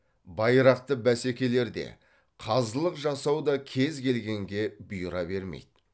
байрақты бәсекелерде қазылық жасау да кез келгенге бұйыра бермейді